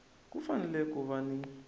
ku fanele ku va ni